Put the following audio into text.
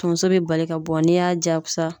Tonso bɛ bali ka bɔ n'i y'a jaakusa